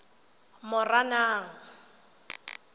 moranang